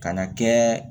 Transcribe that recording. Ka na kɛ